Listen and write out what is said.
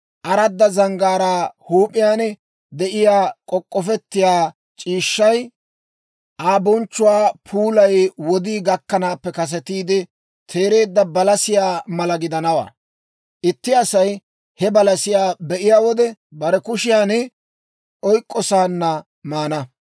Aradda zanggaaraa huup'iyaan de'iyaa k'ok'k'ofettiyaa c'iishshay, Aa bonchchuwaa puulay wodii gakkanaappe kasetiide teereedda balasiyaa mala gidanawaa; itti Asay he balasiyaa be'iyaa wode, bare kushiyan oyk'k'osaana maana.